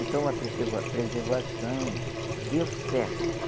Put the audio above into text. Então a preserva preservação deu certo.